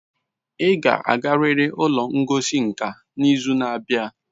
Ị ga-agarịrị ụlọ ngosi nka n'izu na-abịa